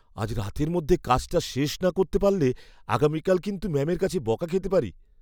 আজ রাতের মধ্যে কাজটা না শেষ করতে পারলে আগামীকাল কিন্তু ম্যামের কাছে বকা খেতে পারি।